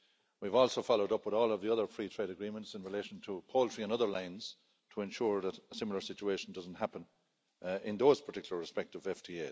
We've also followed up with all of the other free trade agreements in relation to poultry and other lines to ensure that a similar situation doesn't happen in those particular respective FTAs.